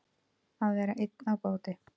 Að vera einn á báti